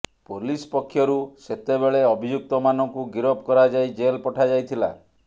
police ପକ୍ଷରୁ ସେତେବେଳେ ଅଭିଯୁକ୍ତମାନଙ୍କୁ ଗିରଫ କରାଯାଇ ଜେଲ୍ ପଠାଯାଇଥିଲା